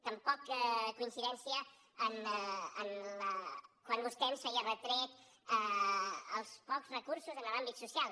tampoc coincidència quan vostè ens feia retret als pocs recursos en l’àmbit social